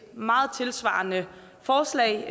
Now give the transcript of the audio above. meget tilsvarende forslag